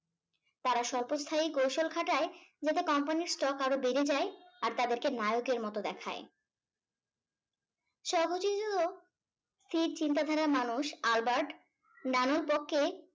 তারা স্বল্প স্থায়ী কৌশল খাটায় যাতে কোম্পানীর stock আরো বেড়ে যাই আর তাদেরকে নায়কের মত দেখায় . স্থির চিন্তাধারার মানুষ আলবার্ট নানুর পক্ষে